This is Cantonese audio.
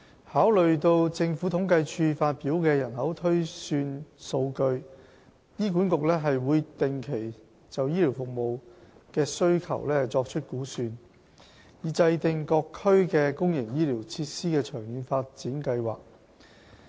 考慮到政府統計處發表的人口推算數據，醫管局會定期就醫療服務需求作出估算，以制訂各區的公營醫療設施的長遠發展計劃。